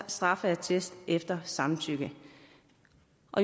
straffeattest efter samtykke